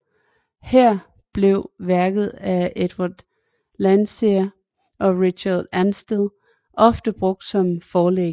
Her blev værker af Edwin Landseer og Richard Ansdell ofte brugt som forlæg